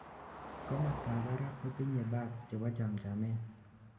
komostab barak kotinyei buds chebo chamchamet